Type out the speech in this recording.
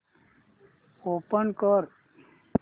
open कर